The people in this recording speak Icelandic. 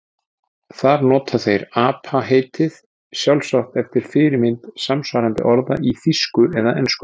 Þar nota þeir apa-heitið, sjálfsagt eftir fyrirmynd samsvarandi orða í þýsku eða ensku.